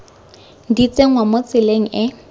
di tsenngwa mo tseleng e